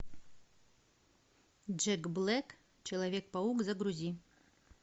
джек блэк человек паук загрузи